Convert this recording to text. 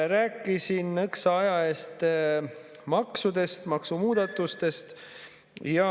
Ma rääkisin nõks aega tagasi maksudest, maksumuudatustest.